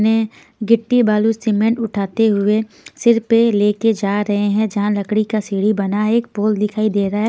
ने गिट्टी बालू सीमेंट उठाते हुए सिर पर लेकर जा रहे हैं जहां लकड़ी का सीढ़ी बना एक पोल दिखाई दे रहा है।